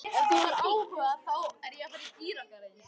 Ef þú hefur áhuga.